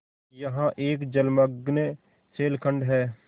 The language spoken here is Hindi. यहाँ एक जलमग्न शैलखंड है